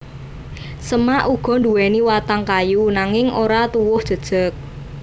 Semak uga nduwèni watang kayu nanging ora tuwuh jejeg